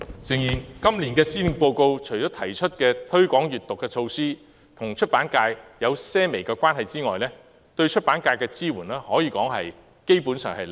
誠然，在今年的施政報告內，除提出推廣閱讀的措施與出版界或許有些微關係外，對出版界的支援可謂是零。